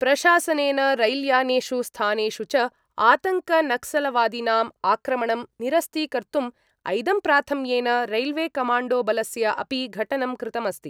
प्रशासनेन रैल्यानेषु, स्थानेषु च आतङ्कनक्सलवादिनाम् आक्रमणं निरस्तीकर्तुम् ऐदम्प्राथम्येन रैल्वेकमाण्डोबलस्य अपि घटनं कृतमस्ति।